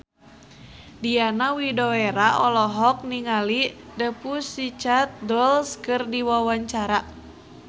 Diana Widoera olohok ningali The Pussycat Dolls keur diwawancara